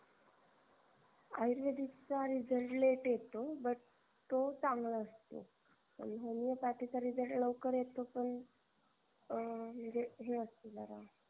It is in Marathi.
आयुर्वेदिकचा result late येतो but तो चांगला असतो पण homeopathic चा result लवकर येतो पण अह म्हणजे हे असतो जरा